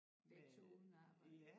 Begge 2 uden arbejde